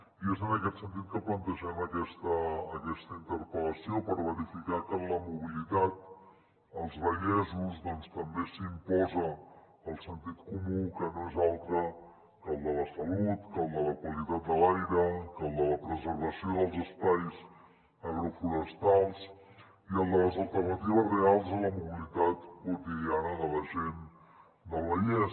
i és en aquest sentit que plantegem aquesta interpel·lació per verificar que en la mobilitat als vallesos també s’hi imposa el sentit comú que no és altre que el de la salut que el de la qualitat de l’aire que el de la preservació dels espais agroforestals i el de les alternatives reals a la mobilitat quotidiana de la gent del vallès